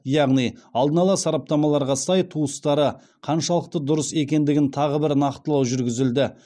яғни алдын ала сараптамаларға сай туыстары қаншалықты дұрыс екендігін тағы бір нақтылау жүргізілді